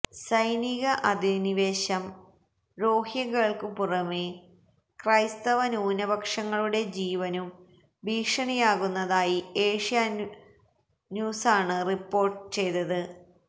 സൈനിക അധിനിവേശം രോഹിൻഗ്യകൾക്കു പുറമേ ക്രൈസ്തവ ന്യൂനപക്ഷങ്ങളുടെ ജീവനും ഭീഷണിയാകുന്നതായി ഏഷ്യാന്യൂസാണ് റിപ്പോർട്ട് ചെയ്തത്